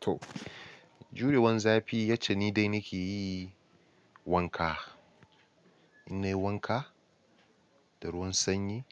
To, jurewan zafi yacce ni dai na ke yi wanka. In nayi wanka da ruwan sanyi